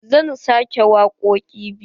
Zan sake wakoƙi biyu.